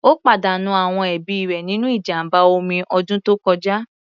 Ó pàdánù àwọn ẹbí rẹ̀ nínú ìjàmbá omi ọdún tó kọjá.